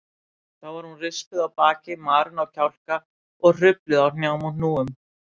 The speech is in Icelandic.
Þá var hún rispuð á baki, marin á kjálka og hrufluð á hnjám og hnúum.